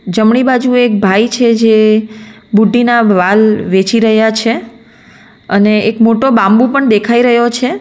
જમણી બાજુ એક ભાઈ છે જે બુઢીના વાલ વેચી રહ્યા છે અને એક મોટો બાબુ પણ દેખાઈ રહ્યો છે.